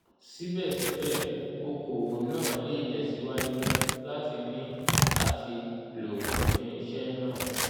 síbẹ̀síbẹ̀ okòwò náà lè tẹ̀síwájú láti ní àti lo irinṣẹ́ náà